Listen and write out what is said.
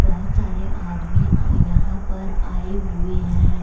बहुत सारे आदमी यहां पर आए हुवे हैं।